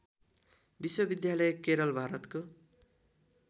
विश्वविद्यालय केरल भारतको